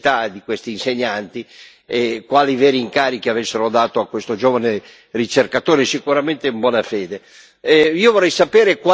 il ruolo di questa università e di questi insegnanti, quali veri incarichi avessero dato a questo giovane ricercatore, sicuramente in buona fede.